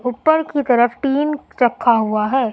ऊपर की तरफ टीन रखा हुआ है।